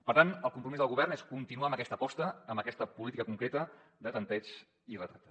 per tant el compromís del govern és continuar amb aquesta aposta amb aquesta política concreta de tanteig i retracte